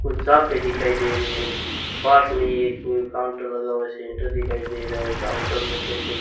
कुछ साफे दिखाई दे रही है पास में ही एक काउंटर लगा हुआ सेंटर दिखाई दे रहा है काउंटर में देखो --